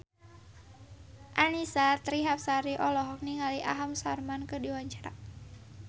Annisa Trihapsari olohok ningali Aham Sharma keur diwawancara